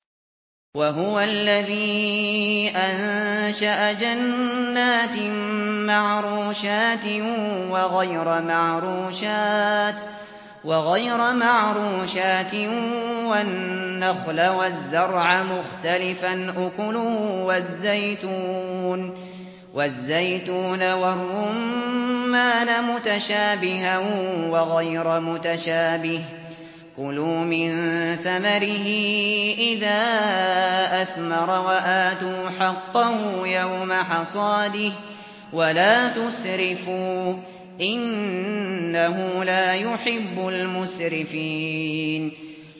۞ وَهُوَ الَّذِي أَنشَأَ جَنَّاتٍ مَّعْرُوشَاتٍ وَغَيْرَ مَعْرُوشَاتٍ وَالنَّخْلَ وَالزَّرْعَ مُخْتَلِفًا أُكُلُهُ وَالزَّيْتُونَ وَالرُّمَّانَ مُتَشَابِهًا وَغَيْرَ مُتَشَابِهٍ ۚ كُلُوا مِن ثَمَرِهِ إِذَا أَثْمَرَ وَآتُوا حَقَّهُ يَوْمَ حَصَادِهِ ۖ وَلَا تُسْرِفُوا ۚ إِنَّهُ لَا يُحِبُّ الْمُسْرِفِينَ